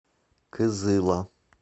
кызыла